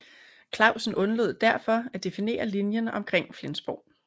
Clausen undlod derfor at definere linjen omkring Flensborg